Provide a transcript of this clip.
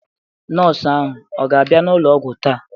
Nọọsụ ahụ ọ ga-abịa n'ụlọ ọgwụ taa?